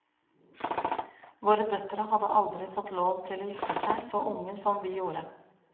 Våre døtre hadde aldri fått lov til å gifte seg så unge som vi gjorde.